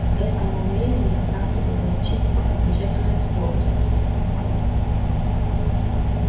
к этому времени характер у волчицы окончательно испортился